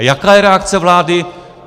A jaká je reakce vlády?